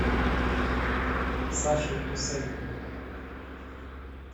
сашей гусейновым